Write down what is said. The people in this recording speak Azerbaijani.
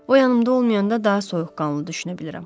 O yanımda olmayanda daha soyuqqanlı düşünə bilirəm.